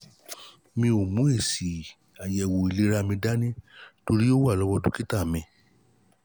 mi ò mú èsì-àyẹ̀wò-ìlera mi dání torí dání torí ó wà lọ́wọ́ dọ́kítà mi